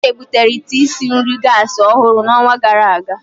Uche butere ite isi nri gasi ọhụrụ n'ọnwa gara aga.